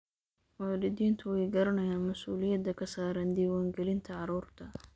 Waalidiintu way garanayaan mas'uuliyadda ka saaran diiwaangelinta carruurta.